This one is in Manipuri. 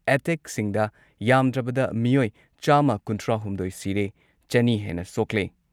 ꯑꯦꯇꯦꯛꯁꯤꯡꯗ ꯌꯥꯝꯗ꯭ꯔꯕꯗ ꯃꯤꯑꯣꯏ ꯆꯥꯝꯃ ꯀꯨꯟꯊ꯭ꯔꯥꯍꯨꯝꯗꯣꯏ ꯁꯤꯔꯦ, ꯆꯅꯤ ꯍꯦꯟꯅ ꯁꯣꯛꯂꯦ ꯫